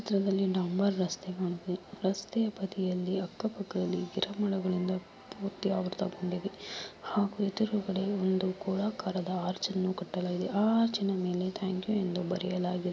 ಈ ಚಿತ್ರದಲ್ಲಿ ಡಾಂಬರ್ ರಸ್ತೆ ಹೊಂದಿದೆ ರಸ್ತೆ ಬದಿಯಲ್ಲಿ ಅಕ್ಕಪಕ್ಕದಲ್ಲಿ ಗಿಡಮರಗಳಿಂದ ಪೂರ್ತಿ ಆವೃತಗೊಂಡಿದೆ ಹಾಗೂ ಎದುರುಗಡೆ ಒಂದು ಗೋಳಾಕಾರದ ಆರ್ಚನ್ನು ಕಟ್ಟಲಾಗಿದೆ ಆ ಅರ್ಚನ ಮೇಲೆ ಥಾಂಕ್ ಯು ಎಂದು ಬರೆಯಲಾಗಿದೆ.